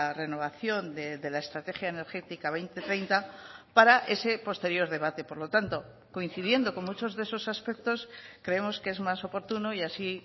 renovación de la estrategia energética dos mil treinta para ese posterior debate por lo tanto coincidiendo con muchos de esos aspectos creemos que es más oportuno y así